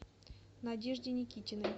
надежде никитиной